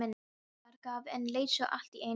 Óskar gaf en leit svo allt í einu upp.